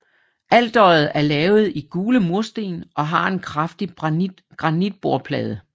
Alteret er lavet i gule mursten og har en kraftig granitbordplade